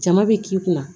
Jama bɛ k'i kunna